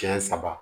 Siɲɛ saba